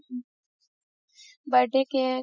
birthday cake